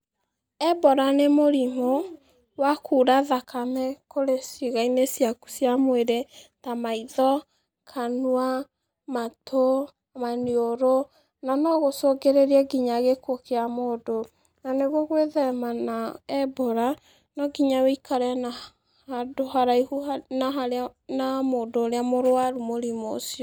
Ebola nĩ mũrimũ wa kuura thakame kurĩ ciĩga-inĩ ciaku cia mwĩrĩ, ta maitho, kanua, matũ, maniũrũ, na no gũcũngĩrĩrie nginya gĩkuũ kĩa mũndũ. Na nĩguo gwĩthema na Ebola no nginya ũikare handũ haraihu na mũndũ ũrĩa mũrwaru mũrimũ ũcio.